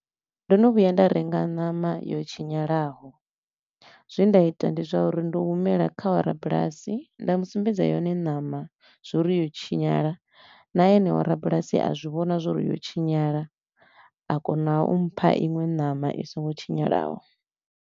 Ndo no vhuya nda renga ṋama yo tshinyanyulaho, zwe nda ita ndi zwa uri ndo humela kha wa rabulasi nda mu sumbedza yone ṋama zwa uri yo tshinyala na eneo rabulasi a zwi vhona zwa uri yo tshinyala, a kona u mpha iṅwe ṋama i so ngo tshinyalaho.